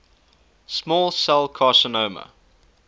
small cell carcinoma